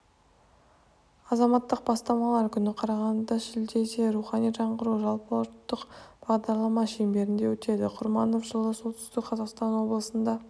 азаматтық бастамалар күні қарағандыда шілдеде рухани жаңғыру жалпыұлттық бағдарлама шеңберінде өтеді құрманов жылы солтүстік қазақстан облысында